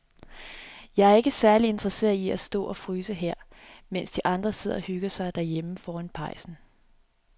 Jeg er ikke særlig interesseret i at stå og fryse her, mens de andre sidder og hygger sig derhjemme foran pejsen.